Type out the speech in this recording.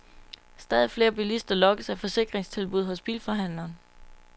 Stadig flere bilister lokkes af forsikringstilbud hos bilforhandleren.